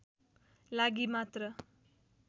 लागि मात्र